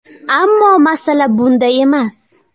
Ammo masala bunda emas.